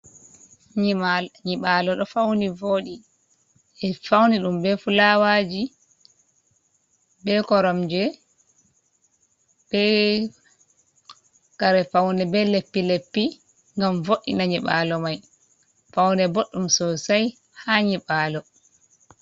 Nyiɓalo ɗo fauni vodi. Ɓe fauni ɗum be fulawaji, be koromje. Be kare paune be leppi leppi gam vo'ina nyiɓalo mai. Faune boɗɗum sosai ha nyiɓalo.